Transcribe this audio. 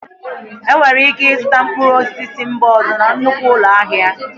Enwere ike ịzụta mkpụrụ osisi si mba ọzọ na nnukwu ụlọ ahịa